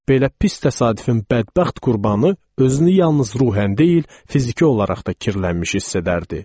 Belə pis təsadüfün bədbəxt qurbanı özünü yalnız ruhən deyil, fiziki olaraq da kirlənmiş hiss edərdi.